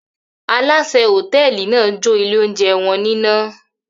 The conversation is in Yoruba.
Alásè hòtẹ́ẹ́lì náà jó ilé-oúnjẹ wọn níná.